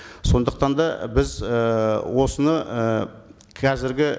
сондықтан да біз і осыны і қазіргі